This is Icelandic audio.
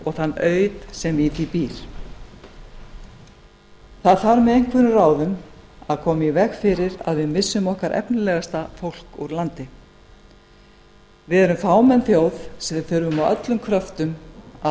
og þann auð sem í því býr það þarf með einhverjum ráðum að koma í veg fyrir að við missum okkar efnilegasta fólk úr landi við erum fámenn þjóð og við þurfum á öllum kröftum að